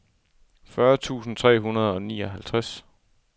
fyrre tusind tre hundrede og nioghalvtreds